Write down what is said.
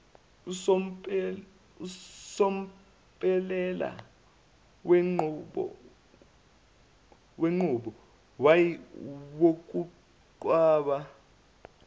somphumela wenqubo yokudweba